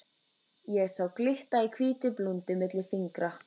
Ég sá glitta í hvíta blúndu milli fingra.